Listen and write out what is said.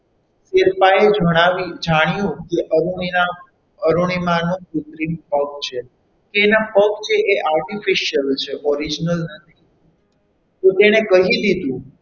એક બાય જણાવ્યું જાણ્યું કે અરુણિમા ના અરુણિમા નો કુત્રિમ પગ છે તેના પગ છે તે artificial છે original નથી તો તેણે કહી દીધું.